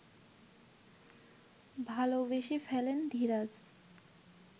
ভালোবেসে ফেলেন ধীরাজ